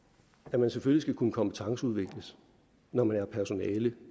at man selvfølgelig skal kunne kompetenceudvikles når man er personale